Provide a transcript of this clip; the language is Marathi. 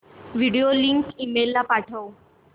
व्हिडिओ लिंक ईमेल ला पाठव